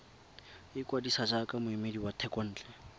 ikwadisa jaaka moemedi wa thekontle